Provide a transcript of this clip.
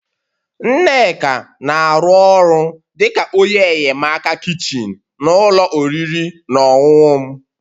Nneka na-arụ ọrụ dị ka onye enyemaka kichin na ụlọ oriri na ọṅụṅụ m